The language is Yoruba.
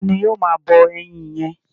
Ta ni ó máa bọ ẹyin yẹn?